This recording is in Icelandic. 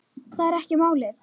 Það er ekki málið.